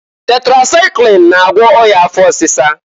Tetresaịklin na-agwọ ọya afọ ọsịsa.